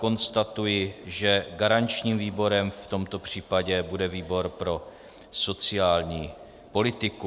Konstatuji, že garančním výborem v tomto případě bude výbor pro sociální politiku.